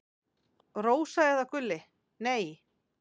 Rósa eða Gulli: Nei.